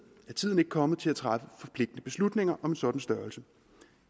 er tiden ikke kommet til at træffe forpligtende beslutninger om en sådan størrelse